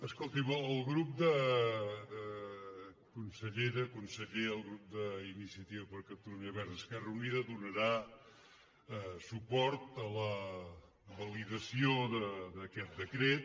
escoltin consellera conseller el grup d’iniciativa per catalunya verds · esquerra unida donarà suport a la validació d’aquest decret